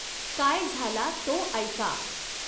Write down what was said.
काय झाला तो ऎका।